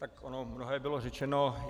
Tak ono mnohé bylo řečeno.